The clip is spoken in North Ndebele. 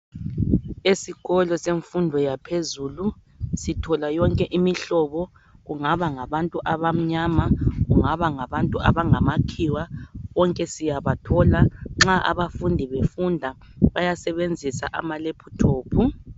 Esikolo semfundo yaphezulu sithola yonke imihlobo kungaba ngabantu abamnyama kungaba ngamakhiwa bonke siyabathola nxa abafundi befunda bayasebenzisa ama lephuthophu.